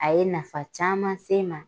A ye nafa caman se n ma.